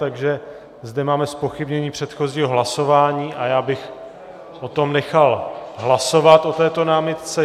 Takže zde máme zpochybnění předchozího hlasování a já bych o tom nechal hlasovat, o této námitce.